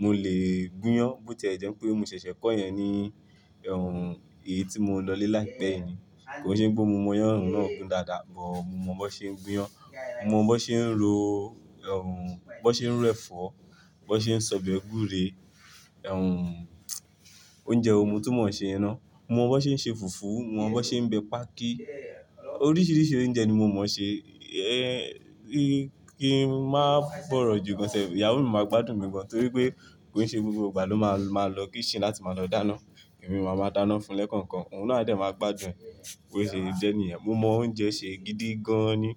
mo lè gúnyán, bó tí ẹ jẹ́ pé mo ṣẹ̀ṣẹ̀ kọ́ yẹn ní, ẹ́hún, èyí tí mo lọ lé láìpẹ́ yìí ni. Kò ì ṣe pé gbó mo mọ iyán náà gun dáadáa, bọ̀ mo mọ̀ bó ṣe ń gúnyán, mo mọ̀ bó ṣe ń ro ẹ́hún, bó ṣe ń ro ẹ̀fọ́, bó ṣe ń sọ̀bẹ̀ ègúré, ẹ́hún, oúnjẹ ohun mo tú mọ̀ ṣe iná. Mo mọ̀ bó ṣe ń ṣe fùfú, mo mọ̀ bó ṣe ń bẹ páákí. Oríṣiríṣi oúnjẹ ni mo mọ̀ ṣe. Ẹ́, kí ń má bọ̀rọ̀ jù gán sẹ̀, ìyàwó mi máa gbádùn mi gan, torí pé kò ì ṣe gbogbo ìgbà ló máa lọ kíṣín láti máa lọ dáná. Ẹ̀mi máa máa dáná fún-un lẹ́kookan. Òun náà dẹ̀ máa gbádùn, kò ì ṣe jẹ́ níyẹn. Mo mọ oúnjẹ ṣe gidi gan ni.